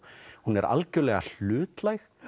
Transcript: hún er algjörlega hlutlæg